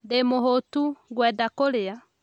Ndĩ mũhũũtu, ngwenda kũrĩa